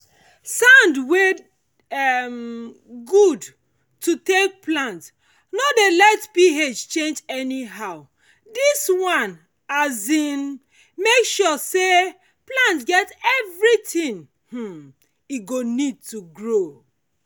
sand wey um good to take plant no dey let ph change anyhow this one um make sure say plant get everything wey um e need to grow.